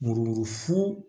Muru funu